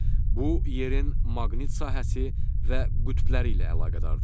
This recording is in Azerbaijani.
Bu, yerin maqnit sahəsi və qütbləri ilə əlaqədardır.